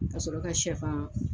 Ka sɔrɔ ka shɛfan